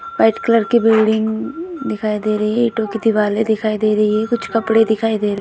White colour की building दिखाई दे रही है। ईंटों की दीवालें दिखाई दे रही हैं। कुछ कपड़े दिखाई दे --